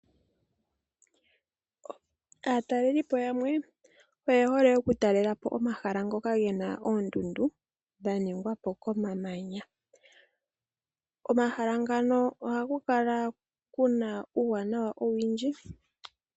Aatalelipo yamwe oye hole okutalela po omahala ngoka ge na oondundu dha ningwa po komamanya. Komahala ngano ohaku kala ku na uuwanawa owindji.